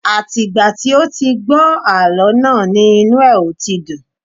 Àti ìgbà tí ó ti gbọ́ àlọ́ náà ni inu ẹ̀ ò ti dùn